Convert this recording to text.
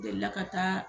Delila ka taa